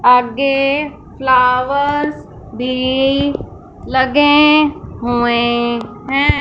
आगे फ्लावर्स भी लगे हुए हैं।